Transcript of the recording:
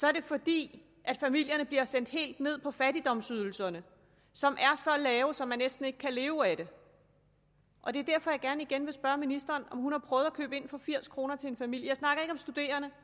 er det fordi familierne bliver sendt helt ned på fattigdomsydelserne som er så lave at man næsten ikke kan leve af dem og det er derfor jeg gerne igen vil spørge ministeren om hun har prøvet at købe ind for firs kroner til en familie jeg snakker ikke om studerende